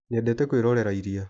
Nyendete kwirorera iria.